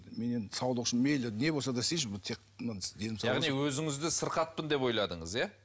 мен енді саулық үшін мейлі не болса да істейінші бұл тек яғни өзіңізді сырқатпын деп ойладыңыз иә